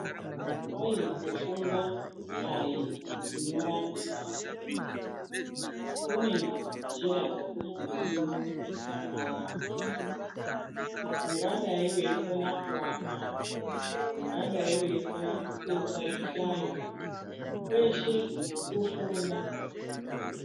Kwai kufunda aikunyorapi basi kune njira dzekufunda ndidzo dzakawanda ungadai weikona kuaka ungadai weikona kutsetsa zvihlayo kweshe kufunda.